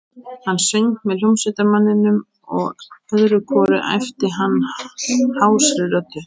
Hann söng með hljómsveitarmanninum og öðru hvoru æpti hann hásri röddu